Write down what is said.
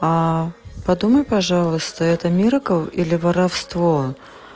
а подумай пожалуйста это миракл или воровство